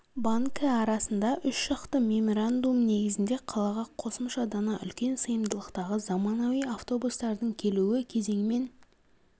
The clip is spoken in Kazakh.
банкі арасында үш жақты меморандум негізінде қалаға қосымша дана үлкен сыйымдылықтағы заманауи автобустардың келуі кезеңмен